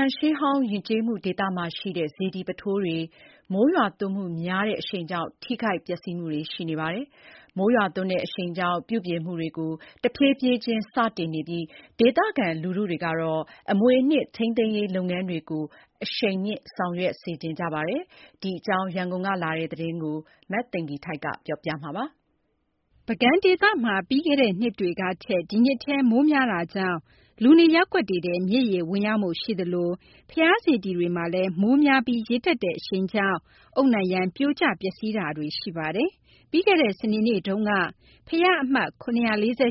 ံရှေးဟောင်း ယဉ်ကျေးမှုဒေသမှာရှိတဲ့ စေတီပုထိုးတွေ မိုးရွာသွန်းမှုများတဲ့ အရှိန်ကြောင့် ထိခိုက်ပျက်စီးမှုတွေ ရှိနေပါတယ်။ ပြုပြင်မှုတွေကို တဖြည်းဖြည်းချင်း စတင်နေပြီး ဒေသခံလူထုကတော့ အမွေအနှစ် ထိန်းသိမ်းရေးလုပ်ငန်းတွေကို အရှိန်မြှင့်ဆောင်ရွက်စေချင်ကြပါတယ်။ ဒီအကြောင်းနဲ့ ပတ်သက်လို့ ရန်ကုန်ကလာတဲ့ သတင်းအပြည့်အစုံကို မသိင်္ဂ ီထိုက် ပြောပြမှာပါ။ ပုဂံဒေသမှာ ပြီးခဲ့တဲ့နှစ်တွေကထက် ဒီနှစ်ထဲ မိုးများတာကြောင့် လူနေရပ်ကွက်တွေထဲ မြစ်ရေဝင်ရောက်မှုရှိသလို ဘုရားစေတီတွေမှာလည်း မိုးများပြီး ရေတက်တဲ့အရှိန်ကြောင့် အုတ်နံရံပြိုကျ ပျက်စီးတာတွေလည်း ရှိနေပါတယ်။ ပြီးခဲ့တဲ့ စနေနေ့တုန်းကလည်း ဘုရားအမှတ် ၇၄၈၊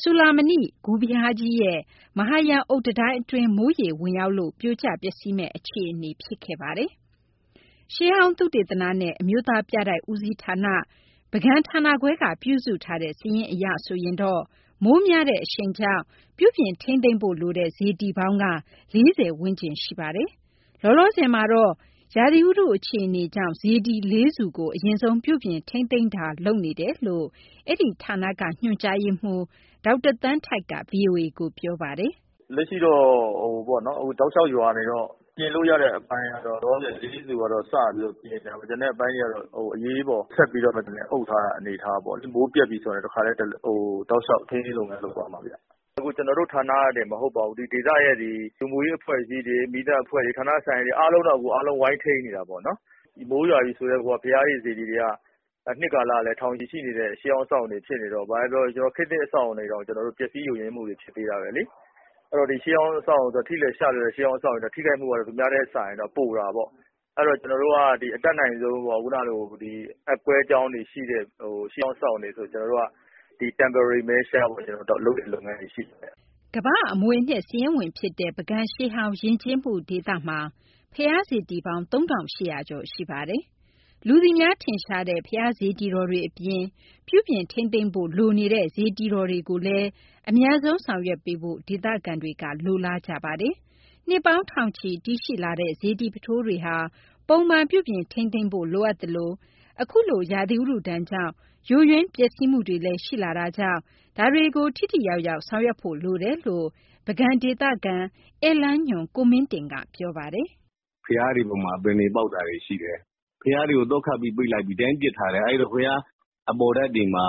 စူဠာမဏိဂူဘုရားကြီးရဲ့ မဟာရံအုတ်တံတိုင်းအတွင်း မိုးရေဝင်ရောက်လို့ ပြိုကျပျက်စီးမယ့် အခြေအနေရောက်ခဲ့ပါတယ်။ ရှေးဟောင်းသုတေသနနဲ့ အမျိုးသားပြတိုက် ဦးစီးဌာန (ပုဂံဌာနခွဲ) ကပြုစုထားတဲ့ စာရင်းအရဆိုရင် မိုးများတဲ့အရှိန်ကြောင့် ပြုပြင်ထိန်းသိမ်းဖို့လိုတဲ့ စေတီပေါင်းက ၄၀ ဝန်းကျင်မှာ ရှိနေပါတယ်။ လောလောဆယ်မှာတော့ ရာသီဥတုအခြေအနေကြောင့် စေတီ ၄ဆူကို အရင်ဆုံးပြုပြင် ထိန်းသိမ်းတာတွေ လုပ်နေတယ်လို့ အဲဒီဌာနက ညွှန်ကြားရေးမှူး ဒေါက်တာသန်းထိုက်က VOA ကိုပြောပါတယ်။ "လက်ရှိတော့ တောက်လျှောက် ရွာနေတော့ ပြင်လို့ရတဲ့အပိုင်းကတော့ လောလောဆယ် လေးဆူကတော့ စပြီးတော့ပြင်နေတယ်။ ကျန်တဲ့အပိုင်းတွေကတော့ အရေးပေါ် အုပ်ထားရတဲ့ အနေအထားပေါ့လေ။ မိုးပြတ်ပြီဆိုတာနဲ့ တောက်လျှောက် ထိန်းသိမ်းရေး လုပ်ငန်းလုပ်သွားမှာပါ။ အခု ကျနော်တို့ဌာနတင် မဟုတ်ပါဘူး။ ဒီဒေသရဲ့ လူမှုရေးအဖွဲ့အစည်းတွေ၊ မီးသတ်အဖွဲ့တွေ၊ ဌာနဆိုင်ရာတွေ အားလုံးတော့ အခု ဝိုင်းထိန်းနေတာပေါ့နော်။ မိုးရွာပြီဆိုတည်းကိုက ဘုရားတွေ၊ စေတီတွေက နှစ်ကာလ ကလည်း ထောင်ချီရှိနေတဲ့ ရှေးဟောင်းအဆောက်အအုံတွေ ဖြစ်နေတော့ ဘာပဲပြောပြော ခေတ်သစ်အဆောက်အအုံတွေတောင် ပျက်စီးယိုယွင်းမှု ဖြစ်သေးတာပဲလေ။ အဲတော့ ထိလွယ်ရှလွယ်တဲ့ ဒီရှေးဟောင်းအဆောက်အအုံတွေကတော့ သူများထက်စာရင်တော့ ပိုတာပေါ့။ အဲတော့ ကျနော်တို့က အတတ်နိုင်ဆုံးပေါ့ ခုနကလို အက်ကွဲကြောင်းတွေရှိတဲ့ ရှေးဟောင်းအဆောက်အအုံတွေဆို ဒီ temporary measure လုပ်တဲ့ လုပ်ငန်းတွေရှိပါတယ်။" ကမ္ဘာ့အမွေအနှစ် စာရင်းဝင်ဖြစ်တဲ့ ပုဂံရှေးဟောင်း ယဉ်ကျေးမှုဒေသမှာ ဘုရားစေတီပေါင်း ၃,၈၀၀ ကျော်ရှိပါတယ်။ လူသိများ ထင်ရှားတဲ့ ဘုရားစေတီတော်တွေအပြင် ပြုပြင်ထိန်းသိမ်းဖို့ လိုနေတဲ့ စေတီတော်တွေကိုလည်း အမြန်ဆုံးဆောင်ရွက်ပေးဖို့ ဒေသခံတွေက လိုလားနေကြပါတယ်။ နှစ်ပေါင်းထောင်ချီ တည်ရှိလာတဲ့ စေတီပုထိုးတွေဟာ ပုံမှန်ပြုပြင် ထိန်းသိမ်းဖို့ လိုအပ်သလို၊ အခုလို ရာသီဥတုဒဏ်ကြောင့် ယိုယွင်းပျက်စီးမှုတွေလည်း ရှိလာတာကြောင့် ဒါတွေကို ထိထိရောက်ရောက် ဆောင်ရွက်ဖို့ လိုတယ်လို့ ပုဂံဒေသခံ၊ ဧည့်လမ်းညွှန် ကိုမင်းတင်က ပြောပါတယ်။ "ဘုရားတွေပေါ်မှာ အပင်တွေပေါက်တာရှိတယ်။ ဘုရားတွေကို သော့ခတ်ပိတ်ပြီး ဒီအတိုင်းပစ်ထားတယ်။ အဲတော့ ဘုရားအပေါ်ထပ်တွေမှာ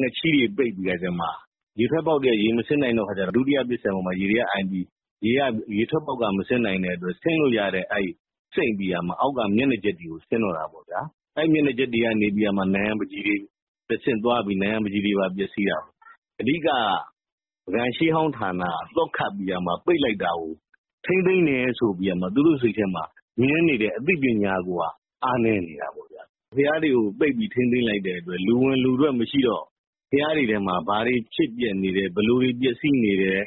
ငှက်ချီးတွေပိတ်ပြီးတော့ ရေထွက်ပေါက်တွေက ရေမဆင်းနိုင်တဲ့အခါကျတော့ ဒုတိယပစ္စယံပေါ်မှာ ရေတွေကအိုင်ပြီး ဆင်းလို့ရတဲ့နေရာကနေ စိမ့်ပြီးတော့ မျက်နှာကျက်တွေပေါ် ဆင်းတော့တာပေါ့ဗျာ။ အဲဒီမျက်နှာကျက်တွေကနေ တဆင့် နံရံပန်းချီတွေပါ ပျက်စီးတာ။ အဓိကက ပုဂံရှေးဟောင်းဌာနက သော့ခတ်ပြီးပိတ်လိုက်တာကို ထိန်းသိမ်းတယ်ဆိုပြီး သူတို့စိတ်ထဲမှာမြင်နေတဲ့ အသိပညာကိုက အားနည်းနေတာပေါ့ဗျာ။ ဘုရားတွေကို ပိတ်ပြီးထိန်းသိမ်းလိုက်တဲ့အတွက် လူဝင်လူထွက်မရှိတော့ ဘုရားတွေထဲမှာ ဘာတွေဖြစ်ပျက်နေလဲ၊ ဘယ်လိုတွေ ပျက်စီးနေလဲ၊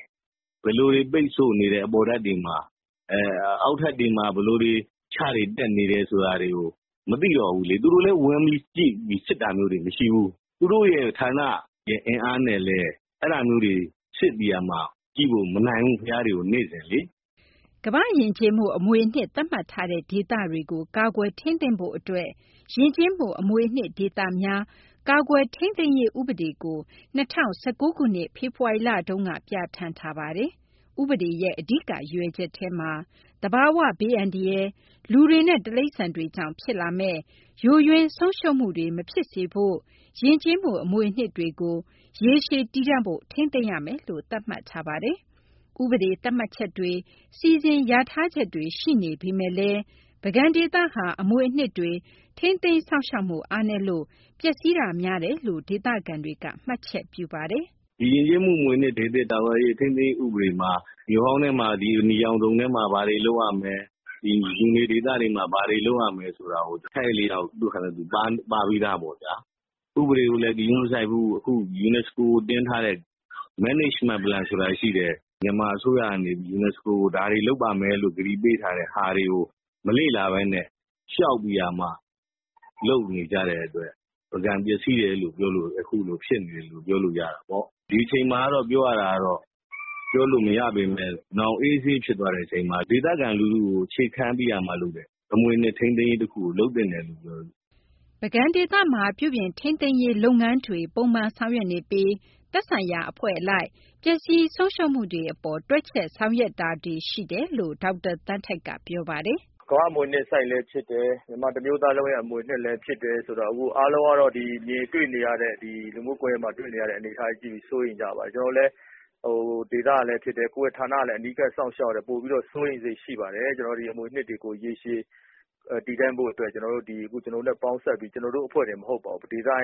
အပေါ်ထပ်တွေမှာ ဘယ်လိုတွေ ပိတ်ဆို့နေတယ်၊ အောက်ထပ်တွေမှာ ခြတွေဘယ်လိုတက်နေတယ်ဆိုတာကို မသိတော့ဘူးလေ။ သူတို့လည်း ဝင်ကြည့်ပြီး စစ်တာမျိုးမရှိဘူး။ သူတို့ဌာနရဲ့ အင်အားနဲ့လည်း အဲဒါမျိုးတွေ စစ်ပေးဖို့က မနိုင်ဘူး၊ ဘုရားတွေကို နေ့စဉ်လေ။" ကမ္ဘာ့ယဉ်ကျေးမှု အမွေအနှစ် သတ်မှတ်ထားတဲ့ ဒေသတွေကို ကာကွယ်ထိန်းသိမ်းဖို့အတွက် ယဉ်ကျေးမှုအမွေအနှစ် ဒေသများ ကာကွယ်ထိန်းသိမ်းရေး ဥပဒေကိုလည်း ၂၀၁၉ ခုနှစ်၊ ဖေဖော်ဝါရီလတုန်းက ပြဌာန်းထားပါတယ်။ ဥပဒေရဲ့ အဓိကရည်ရွယ်ချက်ထဲမှာ သဘာဝဘေးအန္တရာယ်၊ လူတွေနဲ့ တိရစ္ဆာန်တွေကြောင့် ဖြစ်လာမယ့် ယိုယွင်းဆုံးရှုံးမှုတွေ မဖြစ်စေဖို့ ယဉ်ကျေးမှုအမွေအနှစ်တွေကို ရေရှည်တည်တံ့ဖို့ ထိန်းသိမ်းရမယ်လို့ သတ်မှတ်ထားပါတယ်။ ဥပဒေသတ်မှတ်ချက်တွေ၊ စီစဉ်လျာထားချက်တွေ ရှိနေပေမယ့်လည်း ပုဂံဒေသက အမွေအနှစ်တွေဟာ ထိန်းသိမ်းစောင့်ရှောက်မှု အားနည်းလို့ ပျက်စီးမှုများတယ်လို့လည်း ဒေသခံတွေက မှတ်ချက်ပြုထားပါတယ်။ "ဒီယဉ်ကျေးမှုအမွေအနှစ်ဒေသ ကာကွယ်ထိန်းသိမ်းရေး ဥပဒေမှာ မြို့ဟောင်းထဲမှာ အနီရောင်ဇုံထဲမှာ ဘာတွေလုပ်ရမယ်၊ လူနေဒေသတွေမှာ ဘာတွေလုပ်ရမယ် ဆိုတာ အထိုက်အလျောက် သူ့ဟာနဲ့သူ ပါပြီးသားပေါ့ဗျာ။ ဥပဒေကိုလည်း ဂရုမစိုက်ဘူး။ အခု ယူနက်စကို ကိုတင်ထားတဲ့ management plan ဆိုတာရှိတယ်။ မြန်မာအစိုးရက နေပြီးတော့ ယူနက်စကို ကို ဒါတွေလုပ်ပါ့မယ်ဆိုပြီး ကတိပေးထားတဲ့ဟာတွေကို မလေ့လာဘဲနဲ့ လျှောက်ပြီးတော့လုပ်နေကြတဲ့အတွက် ပုဂံအခုလိုဖြစ်နေတယ်လို့ ပြောလို့ရတာပေါ့။ ဒီအချိန်မှာကတော့ ပြောလို့မရပေမယ့် နောင်အေးအေးဆေးဆေး ဖြစ်သွားတဲ့အချိန်မှာ ဒေသခံလူထုကို အခြေခံပြီးလုပ်တဲ့ အမွေအနှစ်ထိန်းသိမ်းရေးကို လုပ်သင့်တယ်လို့မြင်တယ်။" ပုဂံဒေသမှာ ပြုပြင်ထိန်းသိမ်းရေး လုပ်ငန်းတွေကို ပုံမှန်ဆောင်ရွက်နေပြီး သက်ဆိုင်ရာအဖွဲ့အလိုက် ပျက်စီးဆုံးရှုံးမှုတွေ အပေါ် တွက်ချက်ဆောင်ရွက်တာတွေလည်း ရှိတယ်လို့ ဒေါက်တာသန်းထိုက်က ပြောပါတယ်။ "ကမ္ဘာ့အမွေအနှစ်လည်း ဖြစ်တယ်၊ မြန်မာတမျိုးသားလုံးရဲ့ အမွေအနှစ်လည်း ဖြစ်တယ်ဆိုတော့ အခုအားလုံးကတော့ မြင်တွေ့နေရတဲ့ အနေအထားကြည့်ပြီး စိုးရိမ်ကြပါတယ်။ ကျနော်တို့လည်း ဒေသကလည်းဖြစ်တယ်၊ ကိုယ့်ရဲ့ဌာနကလည်း အနီးကပ်စောင့်ရှောက်ရတယ် ဆိုတော့ ပိုပြီးတော့ စိုးရိမ်စိတ်ရှိပါတယ်။ ကျနော်တို့ ဒီအမွေအနှစ်တွေကို ရေရှည်တည်တံ့ဖို့အတွက် ကျနော်တို့နဲ့ပေါင်းစပ်ပြီး ဒီဒေသ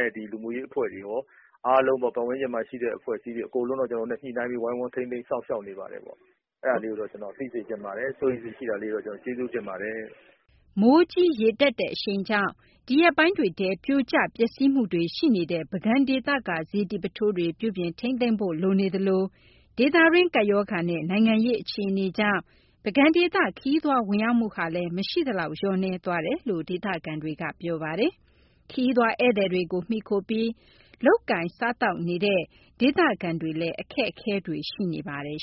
ရဲ့ လူမှုရေးအဖွဲ့တွေရော၊ အားလုံးသော ပတ်ဝန်းကျင်မှာရှိတဲ့ အဖွဲ့အစည်းတွေ အကုန်လုံး ကျနော်တို့နဲ့ ညှိနှိုင်းပြီး ဝိုင်းဝန်းထိန်းသိမ်း စောင့်ရှောက်နေပါတယ်။ အဲဒါလေးကိုတော့ ကျနော်သိစေချင်ပါတယ်။ စိုးရိမ်စိတ်ရှိတာကိုလည်း ကျနော်ကျေးဇူးတင်ပါတယ်။" မိုးကြီးရေတက်တဲ့ အရှိန်ကြောင့် ဒီရက်ပိုင်းတွေထဲ ပြိုကျပျက်စီးမှုတွေ ရှိနေတဲ့ ပုဂံဒေသက စေတီပုထိုးတွေ ပြုပြင်ထိန်းသိမ်းဖို့ လိုနေသလို၊ ဒေသတွင်း ကပ်ရောဂါနဲ့ နိုင်ငံရေး အခြေအနေကြောင့် ပုဂံဒေသ ခရီးသွားဝင်ရောက်မှုဟာလည်း မရှိသလောက် လျော့နည်းသွားတယ်လို့ ဒေသခံတွေက ပြောပါတယ်။ ခရီးသွားဧည့်သည်တွေကို မှီခိုပြီး လုပ်ကိုင်စားသောက်နေတဲ့ ဒေသခံတွေလည်း အခက်အခဲတွေ ရှိနေပါတယ်